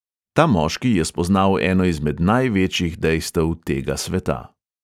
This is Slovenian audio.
Ta moški je spoznal eno izmed največjih dejstev tega sveta.